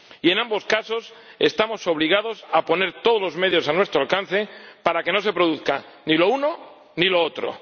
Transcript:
Y en ambos casos, estamos obligados a poner todos los medios a nuestro alcance para que no se produzca ni lo uno ni lo otro.